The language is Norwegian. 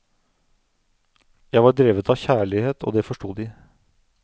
Jeg var drevet av kjærlighet, og det forsto de.